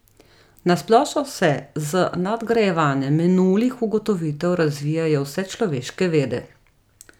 Na splošno se z nadgrajevanjem minulih ugotovitev razvijajo vse človeške vede.